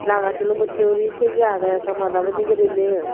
ranga silum ussey guri tigey agey ekka madabo ni guriney.